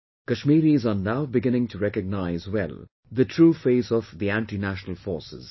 Kashmiris are now beginning to recognize well the true face of the antinational forces